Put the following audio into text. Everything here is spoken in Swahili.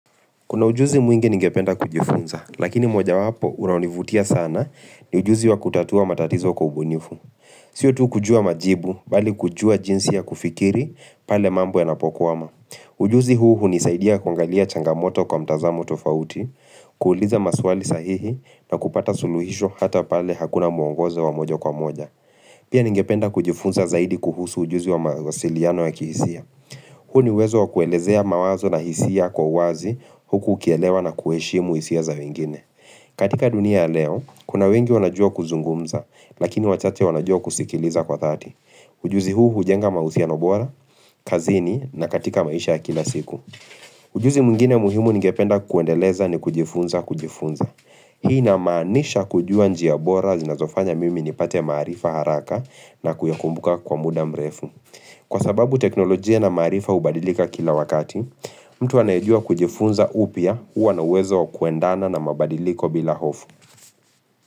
Kuna ujuzi mwingi ningependa kujifunza, lakini moja wapo unaonivutia sana ni ujuzi wa kutatua matatizo kwa kubunifu. Siyo tu kujua majibu, bali kujua jinsi ya kufikiri, pale mambo yanapokwama. Ujuzi huu hunisaidia kuangalia changamoto kwa mtazamo tofauti, kuuliza maswali sahihi na kupata suluhisho hata pale hakuna muongozo wa moja kwa moja. Pia ningependa kujifunza zaidi kuhusu ujuzi wa mawasiliano ya kihisia. Huo ni wezo kuelezea mawazo na hisia kwa wazi huku ukielewa na kuheshimu hisia za wengine. Katika dunia ya leo, kuna wengi wanajua kuzungumza, lakini wachache wanajua kusikiliza kwa dhati. Ujuzi huu hujenga mahusiano bora, kazini na katika maisha kila siku. Ujuzi mwingine muhimu ningependa kuendeleza ni kujifunza kujifunza. Hii namanisha kujua njia bora zinazofanya mimi ni pate maarifa haraka na kuyakumbuka kwa muda mrefu. Kwa sababu teknolojia na maarifa hubadilika kila wakati, mtu anayejua kujifunza upya huwa na uwezo wa kuendana na mabadiliko bila hofu.